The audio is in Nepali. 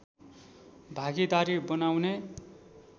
भागीदारी बनाउने